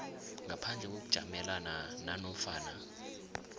ngaphandle kokujamelana nanofana